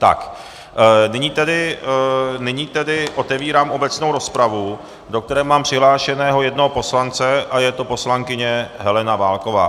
Tak, nyní tedy otevírám obecnou rozpravu, do které mám přihlášeného jednoho poslance a je to poslankyně Helena Válková.